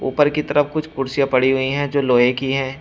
ऊपर की तरफ कुछ कुर्सियां पड़ी हुई है जो लोहे की है।